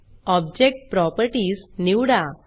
object properties निवडा